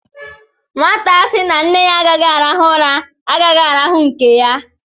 Nwata sị na nne ya agaghị arahu ụra, agaghị arahu nke ya.